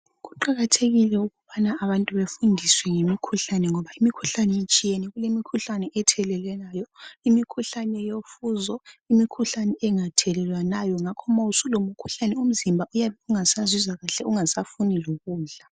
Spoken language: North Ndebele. Kuqakathekile ukubana abantu befundiswe ngemikhuhlane ngoba imikhuhlane itshiyene. Imikhuhlane ethelelelwayo, imikhuhlane yofuzo, imikhuhlane engathelelwanayo. Ngakho nxa usulomkhuhlane umzimba uyabe ungasazizwa kuhle ungasafunu lokudla.